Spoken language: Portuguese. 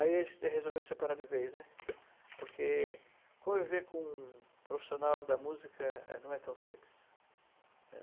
Aí a gente resolveu separar de vez, né, porque conviver com um profissional da música é não é tão simples, né.